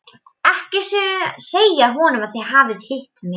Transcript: Ekki segja honum að þið hafið hitt mig.